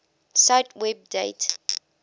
cite web date